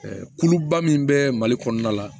kuluba min bɛ mali kɔnɔna la